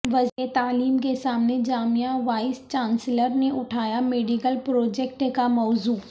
وزیر تعلیم کے سامنے جامعہ وائس چانسلر نے اٹھایا میڈیکل پروجیکٹ کا موضوع